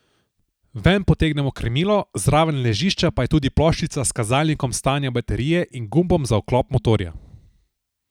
Ven potegnemo krmilo, zraven ležišča pa je tudi ploščica s kazalnikom stanja baterije in gumbom za vklop motorja.